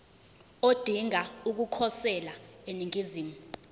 odinga ukukhosela eningizimu